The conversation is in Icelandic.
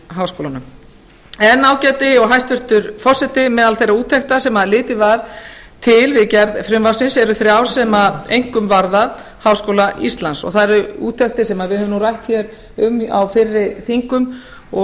ríkisháskólunum en ágæti og hæstvirtur forseti meðal þeirra úttekta sem litið var til við gerð frumvarpsins eru þrjár sem einkum varða háskóla íslands það eru úttektir sem við höfum nú rætt hér um á fyrri þingum og